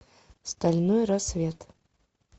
стальной рассвет